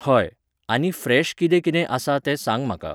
हय. आनी फ्रेश कितें कितें आसा तें सांग म्हाका.